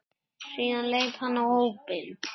Síðan leit hann á hópinn.